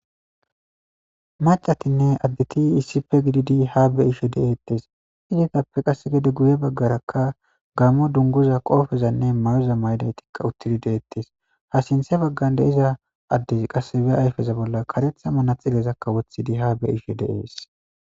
Macatinne additi iisipe gididi ha be ishe de7eettes idikappe qasse gede guye baggarakka gaammo dunguza qoofezanne mayoza mayday tikka uttidi deettes ha sinthe baggan deeza addez qasse be ayfeza bolla karetha mana xilezakka wothidi ha be ishe deees.